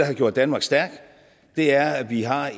har gjort danmark stærkt er at vi har